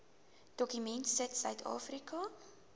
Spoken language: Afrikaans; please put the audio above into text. dokument sit suidafrika